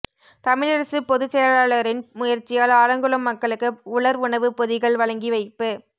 தமிழரசுப் பொதுச் செயலாளரின் முயற்சியால் ஆலங்குளம் மக்களுக்கு உலர் உணவுப் பொதிகள் வழங்கி வைப்பு